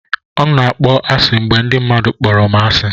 M na-akpọ asị mgbe ndị mmadụ kpọrọ m asị.